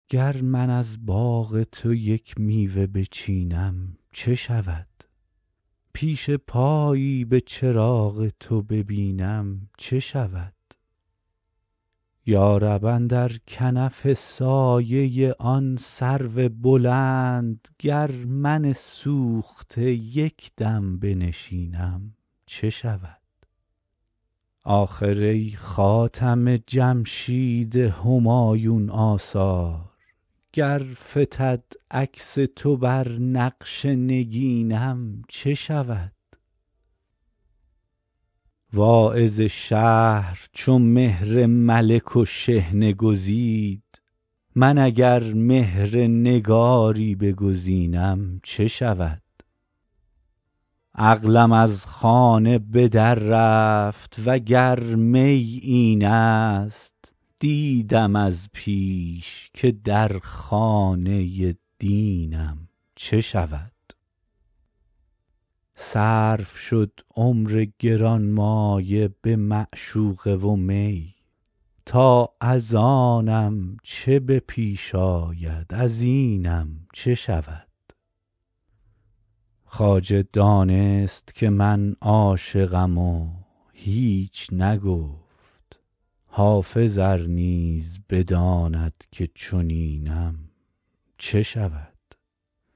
گر من از باغ تو یک میوه بچینم چه شود پیش پایی به چراغ تو ببینم چه شود یا رب اندر کنف سایه آن سرو بلند گر من سوخته یک دم بنشینم چه شود آخر ای خاتم جمشید همایون آثار گر فتد عکس تو بر نقش نگینم چه شود واعظ شهر چو مهر ملک و شحنه گزید من اگر مهر نگاری بگزینم چه شود عقلم از خانه به در رفت وگر می این است دیدم از پیش که در خانه دینم چه شود صرف شد عمر گرانمایه به معشوقه و می تا از آنم چه به پیش آید از اینم چه شود خواجه دانست که من عاشقم و هیچ نگفت حافظ ار نیز بداند که چنینم چه شود